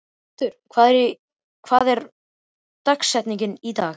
Patrekur, hver er dagsetningin í dag?